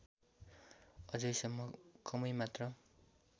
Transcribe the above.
अझैसम्म कमै मात्र